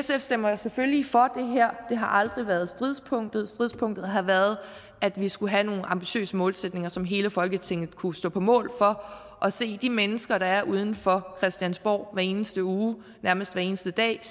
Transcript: sf stemmer selvfølgelig for det her det har aldrig været stridspunktet stridspunktet har været at vi skulle have nogle ambitiøse målsætninger som hele folketinget kunne stå på mål for og se de mennesker der er uden for christiansborg hver eneste uge nærmest hver eneste dag